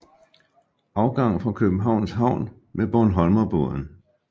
Afgang fra Københavns Havn med Bornholmerbåden